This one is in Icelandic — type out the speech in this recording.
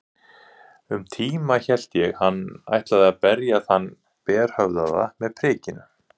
Um tíma hélt ég hann ætlaði að berja þann berhöfðaða með prikinu.